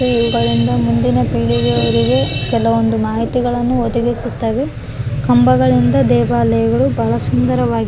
TV ಗಳಿಂದ ಮುಂದಿನ ಪೀಳಿಗೆಯಾರಿಗೆ ಕೆಲವೊಂದು ಮಾಹಿತಿಗಳನ್ನು ಒದಗಿಸುತ್ತವೆ ಕಂಬಗಳಿಂದ ದೇವಾಲಯಗಳು ಬಹಳ ಸುಂದರವಾಗಿ --